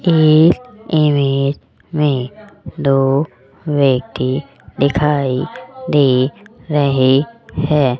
इस इमेज में दो व्यक्ति दिखाई दे रहे हैं।